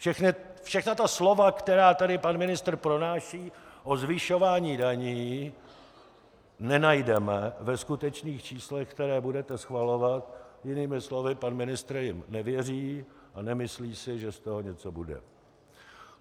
Všechna ta slova, která tady pan ministr pronáší o zvyšování daní, nenajdeme ve skutečných číslech, která budete schvalovat. Jinými slovy, pan ministr jim nevěří a nemyslí si, že z toho něco bude.